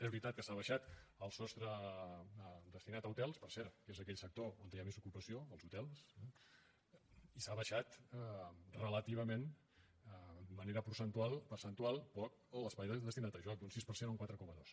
és veritat que s’ha abaixat el sostre destinat a hotels per cert que és aquell sector on hi ha més ocupació els hotels no i s’ha abaixat relativament de manera percentual poc l’espai destinat a joc d’un sis per cent a un quatre coma dos